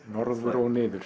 Norður og niður